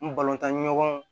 N balontan ɲɔgɔnw